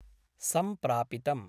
सम्प्रापितम्।